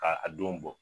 Ka a don bɔ